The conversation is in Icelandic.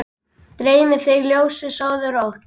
Dreymi þig ljósið, sofðu rótt!